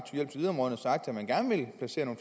at man gerne vil placere